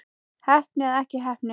Heppni eða ekki heppni?